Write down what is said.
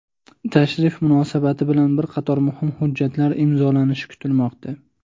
Tashrif munosabati bilan bir qator muhim hujjatlar imzolanishi kutilmoqda.